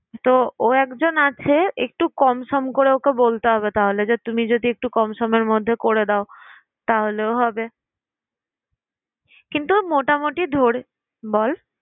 তো ও একজন আছে একটু কমসম করে ওকে বলতে হবে তাহলে যে, তুমি যদি একটু কমসমের মধ্যে করে দাও তাহলেও হবে কিন্তু মোটামুটি ধরে